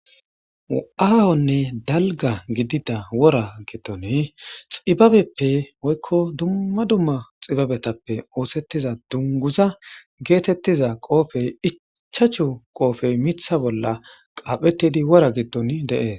aahonne dalga gidida wora giddone xibabeppe oykko dumma dumma xibabetappe oosettiza dunguza geetettiza qoofey icchachu qoofey mitha bolla qaaphetidi wora giddon deees